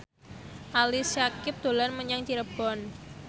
Ali Syakieb dolan menyang Cirebon